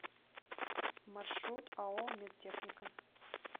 маршрут ао медтехника